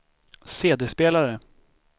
CD-spelare